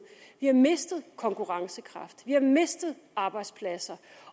vi har mistet konkurrencekraft vi har mistet arbejdspladser